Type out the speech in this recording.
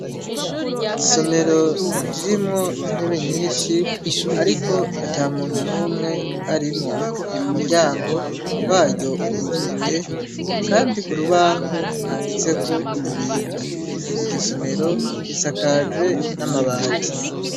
Isomero ririmwo intebe nyinshi, ariko ata muntu n'umwe arimwo umuryango waryo uruguruye, kandi ku rubaho handitseko ibintu iryo somero risakajwe n'amabati.